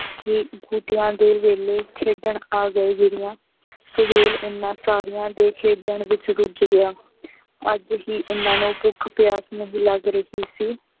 ਕਿ ਬੂਟਿਆਂ ਦੇ ਵੇਲੇ ਖੇਡਣ ਆ ਗਏ ਗਿਰੀਆਂ, ਸੁਹੇਲ ਉਹਨਾ ਸਾਰੀਆਂ ਦੇ ਖੇਡਣ ਵਿੱਚ ਰੁੱਝ ਗਿਆ। ਅੱਜ ਹੀ ਇਹਨਾ ਨੂੰ ਭੁੱਖ ਪਿਆਸ ਨਹੀਂ ਲੱਗ ਰਹੀ ਸੀ।